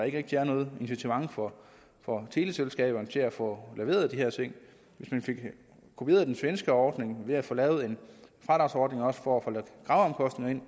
ikke rigtig er noget incitament for for teleselskaberne til at få leveret de her ting hvis man fik kopieret den svenske ordning med at få lavet en fradragsordning også for graveomkostninger